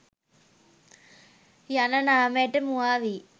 යන නාමයට මුවා වී